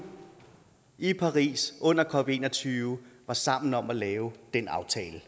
i paris under cop21 var sammen om at lave den aftale